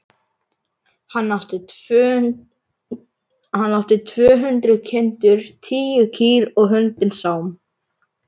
Hann átti tvö hundruð kindur, tíu kýr og hundinn Sám.